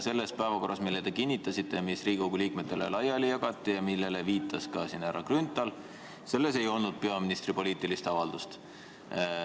Selles päevakorras, mille te kinnitasite, mis Riigikogu liikmetele laiali jagati ja millele viitas siin ka härra Grünthal, ei olnud peaministri poliitilist avaldust.